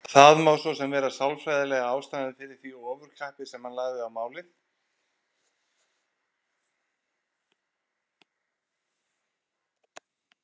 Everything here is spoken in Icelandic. Þetta má svo sem vera sálfræðilega ástæðan fyrir því ofurkappi sem hann lagði á málið.